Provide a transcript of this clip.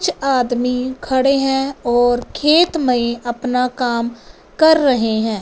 कुछ आदमी खड़े हैं और खेत में अपना काम कर रहे हैं।